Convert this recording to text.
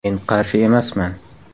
Men qarshi emasman.